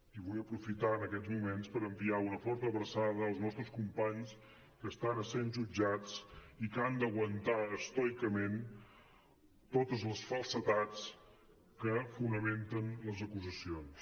i vull aprofitar en aquests moments per enviar una forta abraçada als nostres companys que estan essent jutjats i que han d’aguantar estoicament totes les falsedats que fonamenten les acusacions